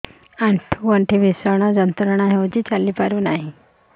ଆଣ୍ଠୁ ଗଣ୍ଠି ଭିଷଣ ଯନ୍ତ୍ରଣା ହଉଛି ଚାଲି ପାରୁନି